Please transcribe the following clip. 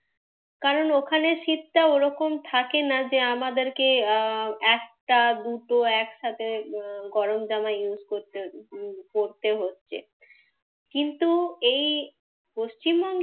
কারণ ওখানে শীতটা ওরকম থাকে না যে আমাদেরকে আহ একটা দুটো একসাথে গরম জামা use করতে উম পড়তে হচ্ছে। কিন্তু এই পশ্চিমবঙ্গে,